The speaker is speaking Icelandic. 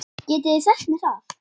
Getið þið sagt mér það?